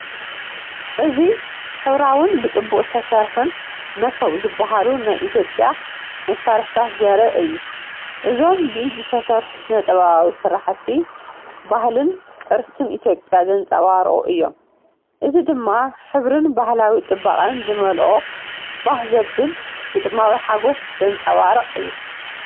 እዚ ሕብራዊን ብጽቡቕ ዝተሰርሑን “መሶብ” ዝበሃሉ ናይ ኢትዮጵያ መሳርሒታት ዘርኢ እዩ። እዞም ብኢድ ዝተሰርሑ ስነ-ጥበባዊ ስርሓት፡ ባህልን ቅርስን ኢትዮጵያ ዘንጸባርቑ እዮም። እዚ ድማ ሕብርን ባህላዊ ጽባቐን ዝመልአ ባህ ዘብል ግጥማዊ ሓጎስ ዘንጸባርቕ እዩ።